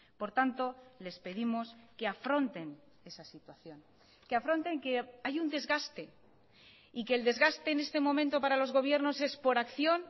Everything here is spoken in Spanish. por tanto les pedimos que afronten esa situación que afronten que hay un desgaste y que el desgaste en este momento para los gobiernos es por acción